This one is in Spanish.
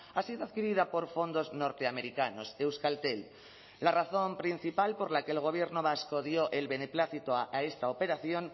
ha sido adquirida por fondos norteamericanos euskaltel la razón principal por la que el gobierno vasco dio el beneplácito a esta operación